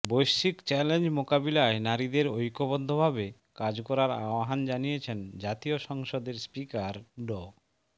বৈশ্বিক চ্যালেঞ্জ মোকাবেলায় নারীদের ঐক্যবদ্ধভাবে কাজ করার আহবান জানিয়েছেন জাতীয় সংসদের স্পিকার ড